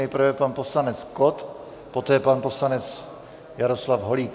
Nejprve pan poslanec Kott, poté pan poslanec Jaroslav Holík.